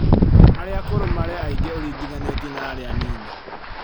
Arĩa akũrũ marĩ aingĩ Ũringithanĩtie na arĩa anini